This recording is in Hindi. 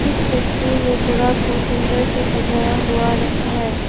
तस्वीर में जगह को सुंदर से सजाया हुआ रखा है।